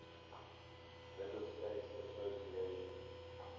middle states association